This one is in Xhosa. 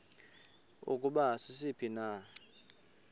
ukuba sisiphi na